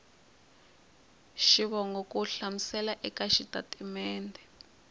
xivongo ku hlamusela eka xitatimede